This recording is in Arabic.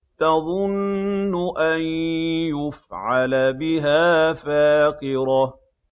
تَظُنُّ أَن يُفْعَلَ بِهَا فَاقِرَةٌ